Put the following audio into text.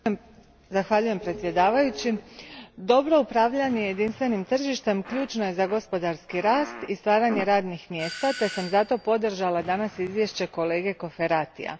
Gospodine predsjedniče, dobro upravljanje jedinstvenim tržištem ključno je za gospodarski rast i stvaranje radnih mjesta te sam zato podržala danas izvješće kolege Cofferatija.